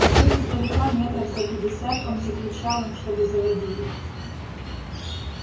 уже издалека метров за пятьдесят он закричал им чтобы заводили